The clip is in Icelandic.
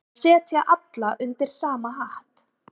Að setja alla undir sama hatt